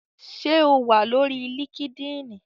Ṣé o wà lórí líkídíìnì?